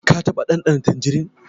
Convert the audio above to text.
Ka taɓa ɗanɗana tanjirin?